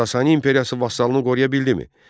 Sasani imperiyası vasalını qoruya bildimi?